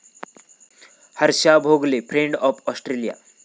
Harsha Bhogle 'friend of Australia'